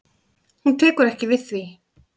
Hún tekur ekki við því.